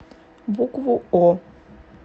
букву о